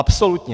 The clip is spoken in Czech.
Absolutně!